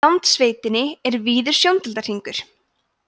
í landsveitinni er víður sjóndeildarhringur